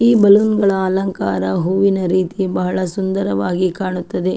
ಈ ಬಿಲ್ಡಿಂಗ್ ಗಳ ಅಲಂಕಾರ ಹೂವಿನ ರೀತಿ ಬಹಳ ಸುಂದರವಾಗಿ ಕಾಣುತ್ತದೆ.